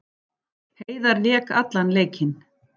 Heiðar lék allan leikinn